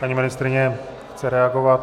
Paní ministryně chce reagovat.